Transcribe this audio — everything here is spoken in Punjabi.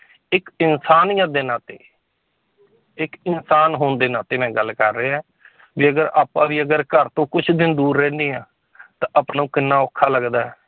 ਇੱਕ ਇਨਸਾਨੀਅਤ ਦੇ ਨਾਤੇ ਇੱਕ ਇਨਸਾਨ ਹੋਣ ਦੇ ਨਾਤੇ ਮੈਂ ਗੱਲ ਕਰ ਰਿਹਾ ਹੈ ਜੇਕਰ ਆਪਾਂ ਵੀ ਅਗਰ ਘਰ ਤੋਂ ਕੁਛ ਦਿਨ ਦੂਰ ਰਹਿੰਦੇ ਹਾਂ ਤਾਂ ਆਪਾਂ ਨੂੰ ਕਿੰਨਾ ਔਖਾ ਲੱਗਦਾ ਹੈ